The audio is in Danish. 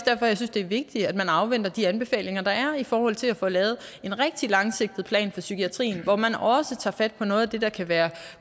det er vigtigt at man afventer de anbefalinger der er i forhold til at få lavet en rigtig langsigtet plan for psykiatrien hvor man også tager fat på noget af det der kan være